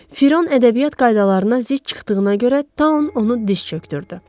Firon ədəbiyyat qaydalarına zidd çıxdığına görə Tan onu diz çökdürdü.